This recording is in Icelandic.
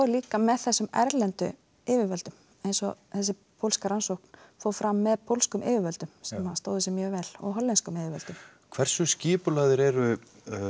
líka með þessum erlendu yfirvöldum eins og þessi pólska rannsókn fór fram með pólskum yfirvöldum sem stóðu sig mjög vel og hollenskum yfirvöldum hversu skipulagðir eru